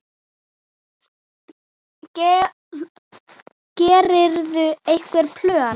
Gerirðu einhver plön?